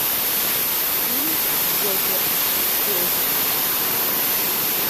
фильм джокер поиск